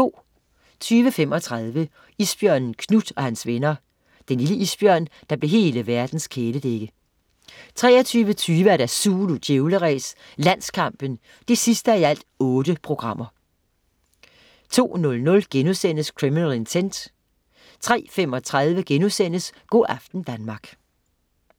20.35 Isbjørnen Knut og hans venner. Den lille isbjørn, der blev hele verdens kæledægge 23.20 Zulu Djævleræs: Landskampen 8:8 02.00 Criminal Intent* 03.35 Go' aften Danmark*